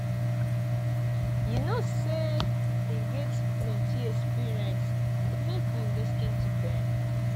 you know sey dem get plenty experience make we lis ten to dem